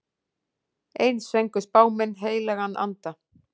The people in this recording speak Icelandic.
Eins fengu spámenn heilagan anda.